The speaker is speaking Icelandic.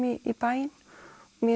í bæinn mér